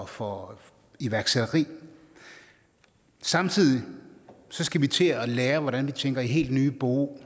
for iværksætteri samtidig skal vi til at lære hvordan vi tænker i helt nye bo